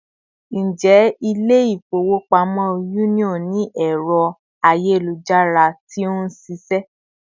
Ǹjẹ́ Ilé-ifowopamo Union ni ẹrọ ayelujara tí ó nṣiṣẹ